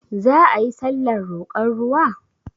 Za ayi sallar roƙon ruwa?